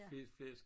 Fed flæsk